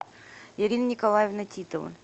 ирина николаевна титова